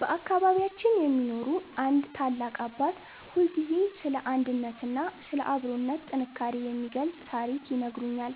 በአካባቢያችን የሚኖሩ አንድ ታላቅ አባት ሁልጊዜ ስለ አንድነትና ስለ አብሮነት ጥንካሬ የሚገልጽ ታሪክ ይነግሩኛል።